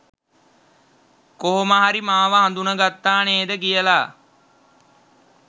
කොහොම හරි මාව හඳුන ගත්තා නේද කියලා.